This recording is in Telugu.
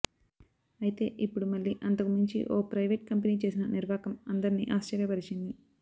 అయితే ఇప్పుడు మళ్లీ అంతకు మించి ఓ ప్రయివేట్ కంపెనీ చేసిన నిర్వాకం అందరిని ఆశ్చర్యపరిచింది